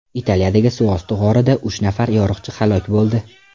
Italiyadagi suvosti g‘orida uch nafar yo‘riqchi halok bo‘ldi.